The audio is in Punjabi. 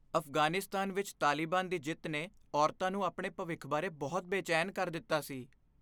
ਅਫ਼ਗਾਨੀਸਤਾਨ ਵਿੱਚ ਤਾਲਿਬਾਨ ਦੀ ਜਿੱਤ ਨੇ ਔਰਤਾਂ ਨੂੰ ਆਪਣੇ ਭਵਿੱਖ ਬਾਰੇ ਬਹੁਤ ਬੇਚੈਨ ਕਰ ਦਿੱਤਾ ਸੀ।